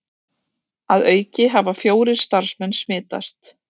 Að auki hafa fjórir starfsmenn smitast